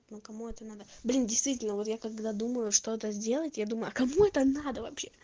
ну кому это надо блин действительно вот я когда думаю что это сделать я думаю а кому это надо вообще